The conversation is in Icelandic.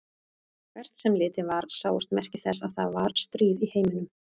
Hvert sem litið var sáust merki þess að það var stríð í heiminum.